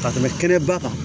Ka tɛmɛ kɛnɛba kan